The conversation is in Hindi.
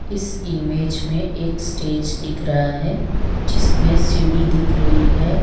इस इमेज में एक स्टेज दिख रहा है जिसमें सीढ़ी दिख रही है।